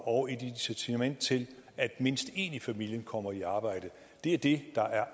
og et incitament til at mindst en i familien kommer i arbejde det er det der er